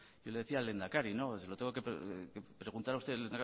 yo le decía al lehendakari no se lo tengo que preguntar a usted